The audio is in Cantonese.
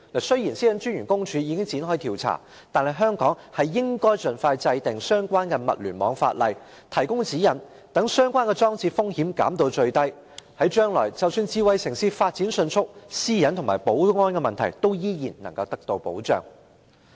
雖然私隱專員公署已經展開調查，但是，香港應盡快制定相關的物聯網法例，提供指引，把相關裝置的風險減至最低，務求將來即使智慧城市發展迅速，私隱和保安等問題依然能夠得到保障。